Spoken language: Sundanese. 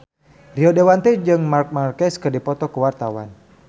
Rio Dewanto jeung Marc Marquez keur dipoto ku wartawan